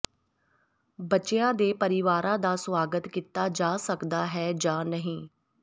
ਬੱਚਿਆਂ ਦੇ ਪਰਿਵਾਰਾਂ ਦਾ ਸੁਆਗਤ ਕੀਤਾ ਜਾ ਸਕਦਾ ਹੈ ਜਾਂ ਨਹੀਂ